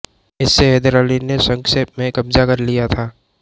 इसे हैदर अली ने संक्षेप में कब्जा कर लिया था